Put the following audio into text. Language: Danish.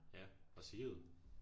Ja og Sigrid